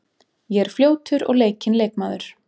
Ég er fljótur og leikinn leikmaður.